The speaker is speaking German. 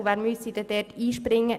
Wer müsste dort einspringen?